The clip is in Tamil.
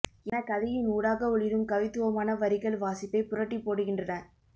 எனக் கதையின் ஊடாக ஒளிரும் கவித்துவமான வரிகள் வாசிப்பைப் புரட்டிப்போடுகின்றன